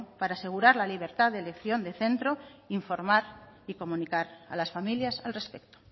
para asegurar la libertad de elección de centro informar y comunicar a las familias al respecto